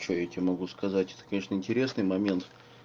что я тебе могу сказать это конечно интересный момент